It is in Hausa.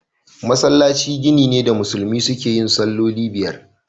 Masallaci gini ne da musulmi suke yin salloli biyar.